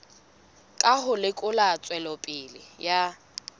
ka ho lekola tswelopele ya